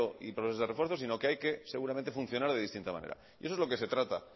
y profesores de refuerzo sino que hay que simplemente funcionar de distinta manera eso es lo que se trata